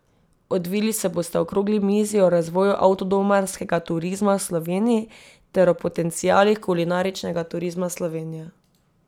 Odvili se bosta okrogli mizi o razvoju avtodomarskega turizma v Sloveniji ter o potencialih kulinaričnega turizma Slovenije.